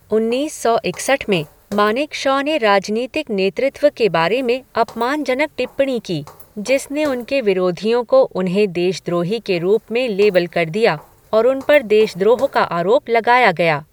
उन्नीस सौ इकसठ में, मानेकशॉ ने राजनीतिक नेतृत्व के बारे में अपमानजनक टिप्पणी की, जिसने उनके विरोधियों को उन्हें देशद्रोही के रूप में लेबल कर दिया, और उन पर देशद्रोह का आरोप लगाया गया।